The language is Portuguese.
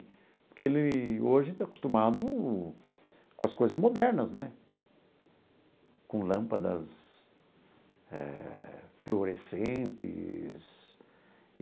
Porque ele hoje está acostumado com as coisas modernas né, com lâmpadas eh fluorescentes.